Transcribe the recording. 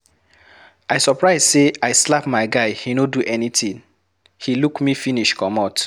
I surprise say I slap my guy he no do anything. He look me finish comot.